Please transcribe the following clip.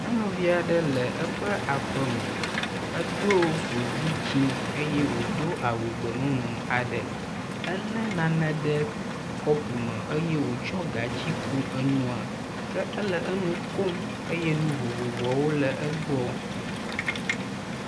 nyɔnuviaɖe le eƒe aƒeme edó godi dzĩ eye wodó awu gbemumu aɖe éle nane ɖe kɔpu me eye wòtsɔ gatsi ku enua ke ele enu kum eye nu vovovoawo le egbɔ